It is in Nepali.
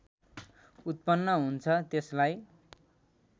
उत्पन्न हुन्छ त्यसलाई